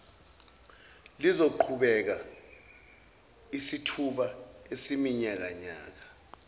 luzoqhubeka isithuba esiyiminyakana